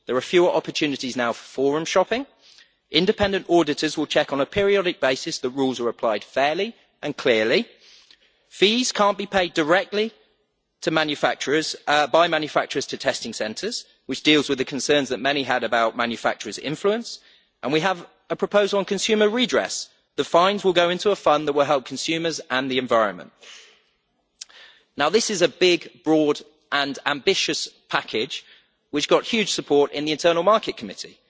There are fewer opportunities now for forum shopping and independent auditors will check on a periodic basis that rules are applied fairly and clearly. Fees cannot be paid directly by manufacturers to testing centres, which deals with the concerns that many had about manufacturers' influence. And we have a proposal on consumer redress. The fines will go into a fund that will help consumers and the environment. This is a big, broad and ambitious package which got huge support in the Internal Market Committee.